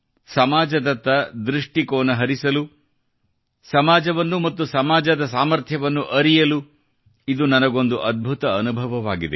ಸಮಾಜದತ್ತ ದೃಷ್ಟಿಕೋನ ಹರಿಸಲು ಸಮಾಜವನ್ನು ಮತ್ತು ಸಮಾಜದ ಸಾಮರ್ಥ್ಯವನ್ನು ಅರಿಯಲು ಇದು ನನಗೊಂದು ಅದ್ಭುತ ಅನುಭವವಾಗಿದೆ